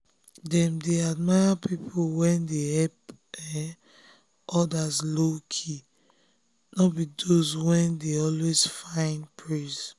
dem dey admire people wey dey help um others low-key no be those wey dey always find um praise.